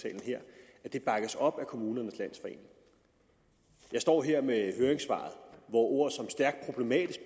der bakkes op af kommunernes landsforening jeg står her med høringssvaret hvor ord som stærkt problematisk